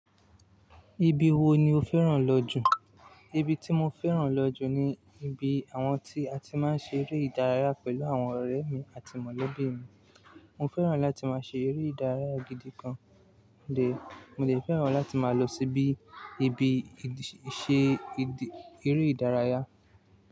Ibi wo ni o fẹ́ràn lọ jù? Ibi tí mo fẹ́ràn lọ jù ni ibi àwọn tí a ti máa ń ṣe eré ìdárayá pẹ̀lú àwọn ọ̀rẹ́ mi àti mọ̀lẹ́bí mi. Mo fẹ́ràn láti máa ṣe eré ìdárayá gidi gan. Mo dè fẹ́ràn láti máa lọ síbi ibi ìṣe eré ìdárayá.